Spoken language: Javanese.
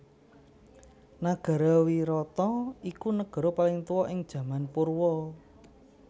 Nagara Wirata iku negara paling tuwa ing jaman Purwa